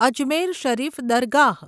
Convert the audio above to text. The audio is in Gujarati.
અજમેર શરીફ દરગાહ